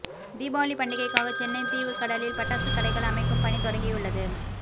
தீபாவளி பண்டிகைக்காக சென்னை தீவுத்திடலில் பட்டாசு கடைகள் அமைக்கும் பணி தொடங்கியுள்ளது